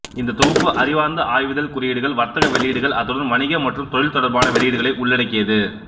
இந்த தொகுப்பு அறிவார்ந்த ஆய்விதழ் குறியீடுகள் வர்த்தக வெளியீடுகள் அத்துடன் வணிக மற்றும் தொழில் தொடர்பான வெளியீடுகளை உள்ளடக்கியது